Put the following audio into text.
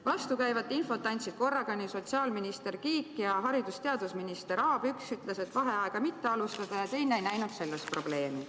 Vastukäivat infot andsid korraga nii sotsiaalminister Kiik kui ka haridus- ja teadusminister Aab: üks ütles, et vaheaega ei tuleks alustada, aga teine ei näinud selles probleemi.